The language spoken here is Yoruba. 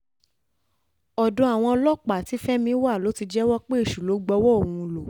ọ̀dọ̀ àwọn ọlọ́pàá tí fẹ́mi wà ló ti jẹ́wọ́ pé èṣù ló gbowó òun lọ